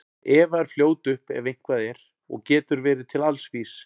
Eva er fljót upp ef eitthvað er og getur verið til alls vís.